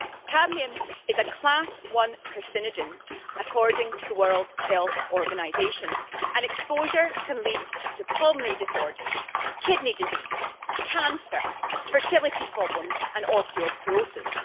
Cadmium is a Class One carcinogen according to the World Health Organisation, and exposure can lead to pulmonary disorders, kidney disease, cancer, fertility problems and osteoporosis.